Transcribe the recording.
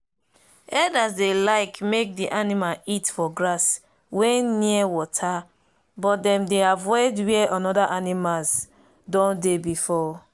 herders dey like make the animal eat for grass wen near water but them dey avoid where another animals doh dey before.